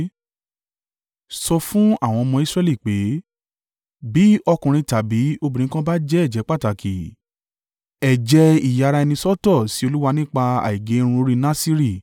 “Sọ fún àwọn ọmọ Israẹli pé, ‘Bí ọkùnrin tàbí obìnrin kan bá jẹ́ ẹ̀jẹ́ pàtàkì, ẹ̀jẹ́ ìyara-ẹni-sọ́tọ̀ sí Olúwa nípa àìgé irun orí (Nasiri),